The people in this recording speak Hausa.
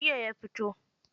Jiya ya fito.